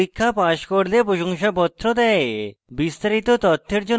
online পরীক্ষা pass করলে প্রশংসাপত্র দেয়